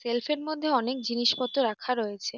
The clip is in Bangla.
সেলফ -এর মধ্যে অনেক জিনিসপত্র রাখা রয়েছে ।